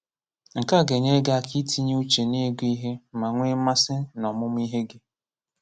Nke a ga-enyere gị aka itinye uche n’ịgụ ihe ma nwee mmasị n'ọmụmụ ihe gị.